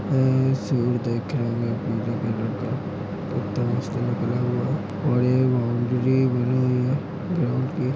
और एक बाउंड्री बनी हुई है। ग्राउंड की --